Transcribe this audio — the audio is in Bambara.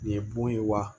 Nin ye bon ye wa